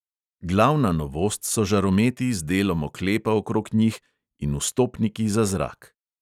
Glavna novost so žarometi z delom oklepa okrog njih in vstopniki za zrak.